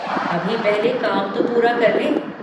अभी पहले काम तो पूरा कर लें।